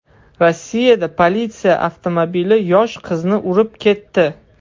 Rossiyada politsiya avtomobili yosh qizni urib ketdi.